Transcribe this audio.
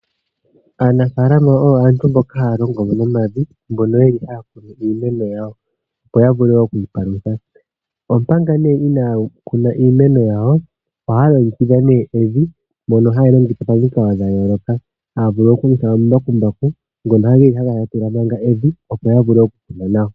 Aanafalama oyo aantu mboka haya longo nomavi mono ye li haya kunu iimeno yawo, opo ya vule oku ipalutha. Omanga nee inaya kuna iimeno yawo ohaya longekidha nee evi mono hali longekidhwa momikalo dha yooloka. Haya vulu okulongitha omambakumbaku ngono geli haga latula manga evi opo ya vule okukuna nawa.